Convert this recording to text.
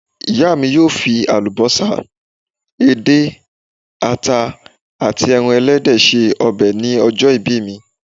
Ìyá mi yóò fi àlùbọ́sà, edé, àta àti ẹran ẹlẹ́dẹ̀ ṣe ọbẹ̀ ní ọjọ́ ìbí me